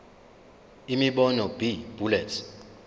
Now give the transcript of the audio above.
imibono b bullets